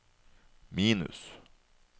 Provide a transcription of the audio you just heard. minus